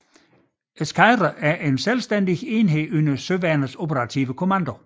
Eskadre en selvstændig enhed under Søværnets Operative Kommando